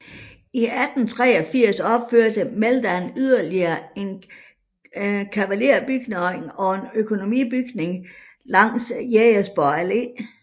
I 1883 opførte Meldahl yderligere en kavalerbygning og en økonomibygning langs Jægersborg Allé